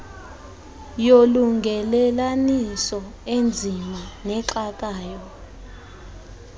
yolungelelaniso enzima nexakayo